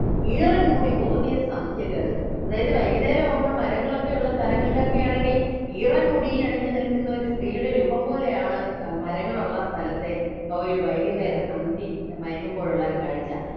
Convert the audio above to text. ഈറൻമുടി കോതിയ സന്ധ്യകൾ അതായത് വൈകുന്നേരം ആവുമ്പോൾ മരങ്ങളൊക്കെയുള്ള സ്ഥങ്ങളൊക്കെയാണെങ്കിൽ ഈറൻ മുടി അണിഞ്ഞു നിൽക്കുന്നൊരു സ്ത്രീയുടെ രൂപം പോലെയാണ് ആഹ് മരങ്ങളുള്ള സ്ഥലത്തെ ആ ഒരു വൈകുന്നേരം അന്തി മയങ്ങുമ്പോഴുള്ള ആ ഒരു കാഴ്ച